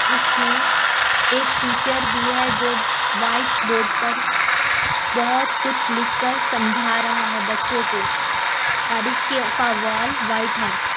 इसमें एक टीचर भी है जो व्हाइट बोर्ड पर बहुत कुछ लिखकर समझा रहा है बच्चों को और इसके का वॉल व्हाइट है।